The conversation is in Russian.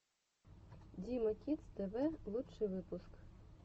дима кидс тэ вэ лучший выпуск